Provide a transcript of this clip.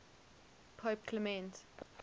pope clement